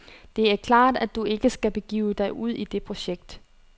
Det er klart, at du ikke skal begive dig ud i det projekt.